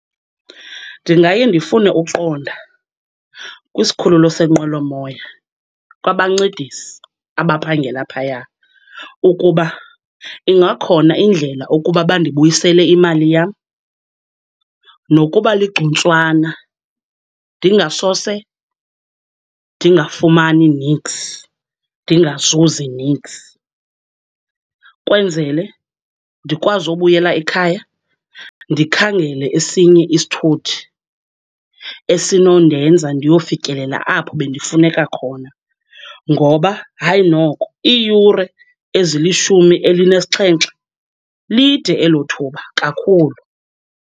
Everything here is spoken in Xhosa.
Ndingaye ndifune uqonda kwisikhululo senqwelomoya, kwabancedisi abaphangela phaya, ukuba ingakhona indlela ukuba bandibuyisele imali yam, nokuba ligcuntswana, ndingasose ndingafumani niks, ndingazuzi niks. Kwenzele ndikwazi ubuyela ekhaya, ndikhangele esinye isithuthi esinondenza ndiyofikelela apho bendifuneka khona. Ngoba, hayi noko, iiyure elizishumi elinesixhenxe, lide elo thuba kakhulu.